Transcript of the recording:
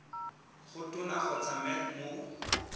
go tona kgotsa mec mo